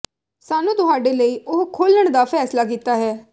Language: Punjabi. ਸਾਨੂੰ ਤੁਹਾਡੇ ਲਈ ਉਹ ਖੋਲ੍ਹਣ ਦਾ ਫੈਸਲਾ ਕੀਤਾ ਹੈ